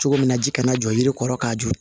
Cogo min na ji kana jɔ yiri kɔrɔ k'a jɔ